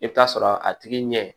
I bɛ taa sɔrɔ a tigi ɲɛ